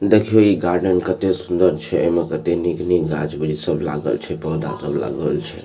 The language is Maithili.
देखयो ई गार्डन कते सुन्दर छै एमे कते निक-निक गाछ वृछ सब लागल छै पौधा सब लागल छै।